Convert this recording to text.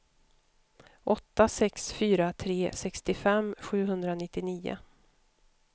åtta sex fyra tre sextiofem sjuhundranittionio